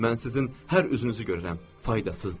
Mən sizin hər üzünüzü görürəm, faydasızdır.